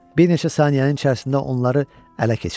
Bir neçə saniyənin içərisində onları ələ keçirdilər.